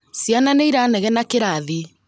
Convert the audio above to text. Ciana nĩiranegena kĩrathi